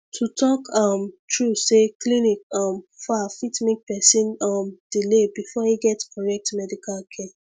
to talk um true say clinic um far fit make person um delay before e get correct medical care